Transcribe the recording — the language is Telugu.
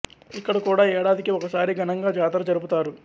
ఇక్కడ కూడా ఏడాదికి ఒకసారి ఘనంగా జాతర జరుపు తారు